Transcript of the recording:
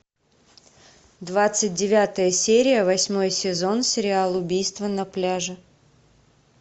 двадцать девятая серия восьмой сезон сериал убийство на пляже